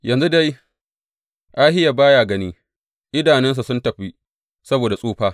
Yanzu dai Ahiya ba ya gani; idanunsa sun tafi saboda tsufa.